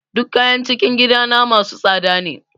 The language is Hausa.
Duk kayan cikin gidana masu tsada ne.